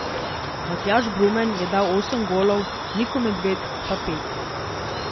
Matjaž Brumen je dal osem golov, Niko Medved pa pet.